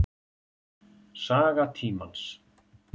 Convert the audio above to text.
Saga tímans.